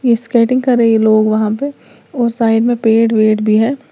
Skating कर रहे हैं लोग वहां पे और साइड में पेड़ वेड भी हैं।